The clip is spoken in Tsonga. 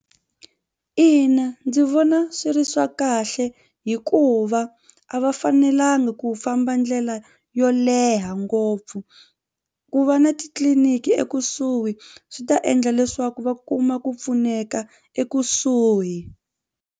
Ina ndzi vona swi ri swa kahle hikuva a va fanelanga ku famba ndlela yo leha ngopfu ku va na titliliniki ekusuhi swi ta endla leswaku va kuma ku pfuneka ekusuhi.